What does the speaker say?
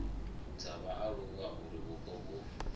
dza vhaaluwa uri vhupo vhu